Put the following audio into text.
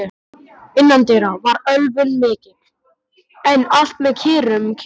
Innandyra var ölvun mikil, en allt með kyrrum kjörum.